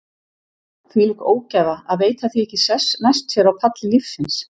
Þvílík ógæfa að veita því ekki sess næst sér á palli lífsins.